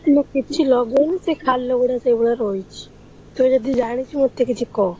ମୁଁ କିଛି ଲଗଉନି, ସେ ଖାଲ ଗୁଡାକ ସେଇଭଳିଆ ରହିଛି, ତୁ ଯଦି ଜାଣିଛୁ ମତେ କିଛି କହ।